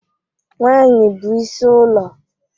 Nwanyị bụ is ụlọ.